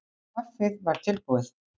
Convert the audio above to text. Kaffið var tilbúið.